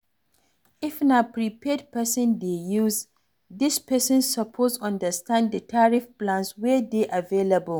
If na prepaid person dey use, di person suppose understand di tarrif plans wey dey available